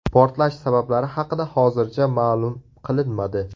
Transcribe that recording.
Portlash sabablari haqida hozircha ma’lum qilinmadi.